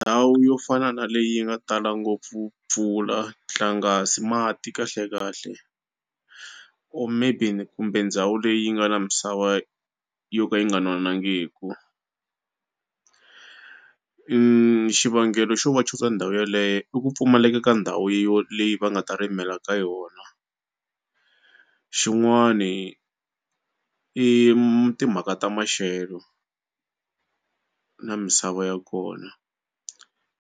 Ndhawu yo fana na leyi yi nga tala ngopfu mpfula nhlangasi mati kahlekahle or maybe kumbe ndhawu leyi nga na misava yo ka yi nga nonangiku xivangelo xo va chuza ndhawu yeleyo i ku pfumaleka ka ndhawu yo leyi va nga ta rimela ka yona xin'wani i timhaka ta maxelo na misava ya kona.